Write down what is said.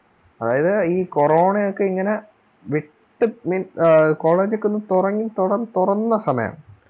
അതായിത് ഈ ഒക്കെ ഇങ്ങനെ വിട്ടു നിന്ന് ആ college ഒക്കെ തുടങ്ങി തുറന്നു തുറന്ന സമയം